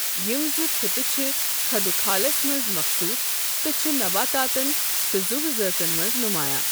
یمِ زٕ خطہٕ چھِ خدو خالس منز مخصوص تہٕ چھِ نباتاتن تہٕ زٗو زٲژن منٛز نمایا۔